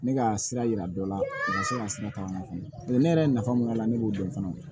Ne ka sira yira dɔ la o ma se ka sira ta ka na fɛnɛ ne yɛrɛ ye nafa mun y'a la ne b'o dɔn fana o la